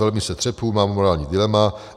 Velmi se třesu, mám morální dilema.